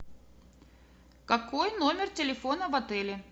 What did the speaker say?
какой номер телефона в отеле